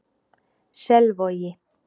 Selvogi